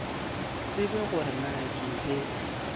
tsebe gore na ke be